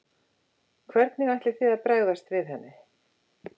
Hvernig ætlið þið að bregðast við henni?